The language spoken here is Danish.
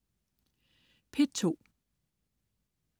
P2: